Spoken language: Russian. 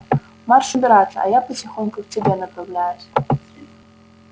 марш убираться а я потихоньку к тебе направляюсь